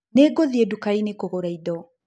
Nĩngũthĩe dũkaĩnĩ kũgũra ĩdo.